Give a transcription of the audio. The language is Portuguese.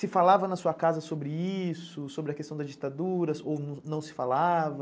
Se falava na sua casa sobre isso, sobre a questão das ditaduras ou não se falava?